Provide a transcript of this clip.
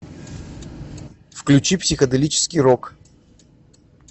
включи психоделический рок